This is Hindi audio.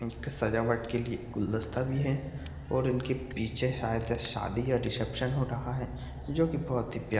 सजावट के लिए गुलदस्ता भी हैं और इनके पीछे शायद शादी या रिसेप्शन हो रहा हैं जो की बहुत ही प्या --